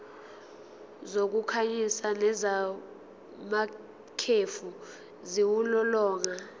zokukhanyisa nezamakhefu ziwulolonga